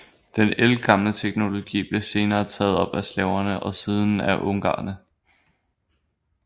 Den ældgamle teknologi blev senere taget op af slaverne og siden af ungarerne